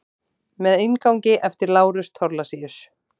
Með inngangi eftir Lárus Thorlacius.